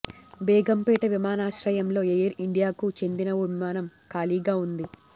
బేగంపేట విమానాశ్రయంలో ఎయిర్ ఇండియాకు చెందిన ఓ విమానం ఖాళీగా ఉంది